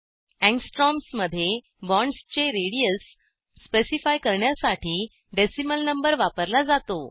angstromsमध्ये बॉण्ड्सचे radius specify करण्यासाठी decimal number वापरला जातो